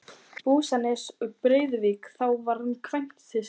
Húsanes í Breiðuvík þá hann kvæntist.